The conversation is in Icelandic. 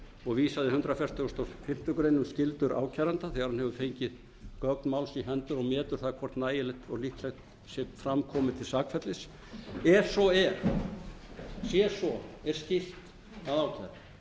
og vísað i hundrað fertugasta og fimmtu grein um skyldur ákæranda þegar hann hefur fengið gögn máls í hendur metur það hvort nægilegt og líklegt sé fram komið til sakfellis ef svo er sé svo er skylt að